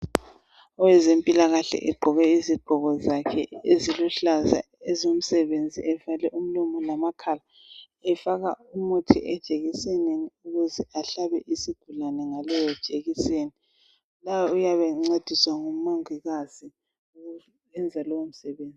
Owezempilakahle egqoke izigqoko zakhe eziluhlaza ezomsebenzi evale umlomo lamakhala .Efaka umuthi ejekisenini ukuze ahlabe isigulane ngaleyo jekiseni .Lapha uyabe encediswa ngumongikazi esenza lowo msebenzi .